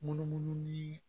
Munumunu ni